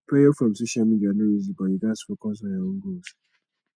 pressure from social media no easy but you gats focus on your own goals